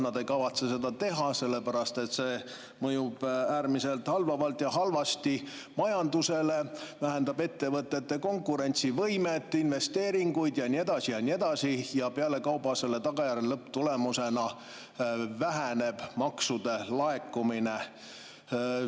Nad ei kavatse seda teha, sellepärast et see mõjub äärmiselt halvavalt ja halvasti majandusele, vähendab ettevõtete konkurentsivõimet, investeeringuid ja nii edasi ja nii edasi, ja pealekauba selle tagajärjel lõpptulemusena väheneb maksude laekumine.